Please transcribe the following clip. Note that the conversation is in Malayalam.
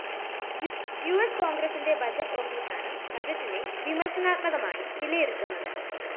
യുഎസ് കോണ്‍ഗ്രിന്റെ ബഡ്ജറ്റ്‌ ഓഫീസാണ് ബജറ്റിനെ വിമര്‍ശനാത്മകമായി വിലയിരുത്തുന്നത്